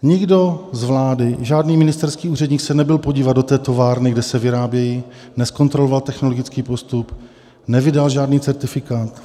Nikdo z vlády, žádný ministerský úředník, se nebyl podívat do té továrny, kde se vyrábějí, nezkontroloval technologický postup, nevydal žádný certifikát.